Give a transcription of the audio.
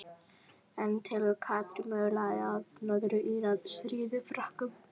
En telur Katrín mögulegt að Norður Írar stríði Frökkum?